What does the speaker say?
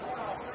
Nə qədər?